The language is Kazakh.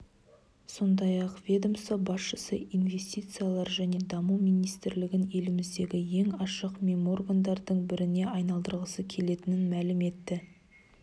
сондай-ақ ведомство басшысы инвестициялар және даму министрлігін еліміздегі ең ашық меморгандардың біріне айналдырғысы келетінін мәлім етті